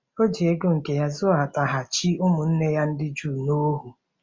O ji ego nke ya zụtaghachi ụmụnne ya ndị Juu n'ohu.